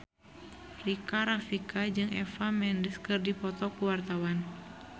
Rika Rafika jeung Eva Mendes keur dipoto ku wartawan